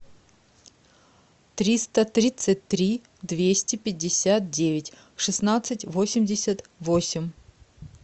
триста тридцать три двести пятьдесят девять шестнадцать восемьдесят восемь